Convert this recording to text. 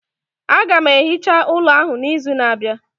Aga m ehicha ụlọ ahụ n'izu na-abịa